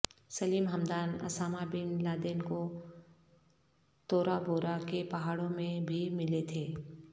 سلیم Hamdan Osama bin Laden کو Tora Bora کے پہاڑوں میں بھی ملے تھے